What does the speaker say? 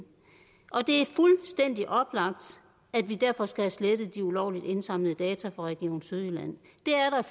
og det er fuldstændig oplagt at vi derfor skal have slettet de ulovligt indsamlede data fra region sydjylland